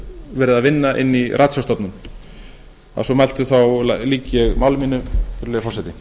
verið að vinna inni í ratsjárstofnun að svo mæltu lýk ég máli mínu virðulegi forseti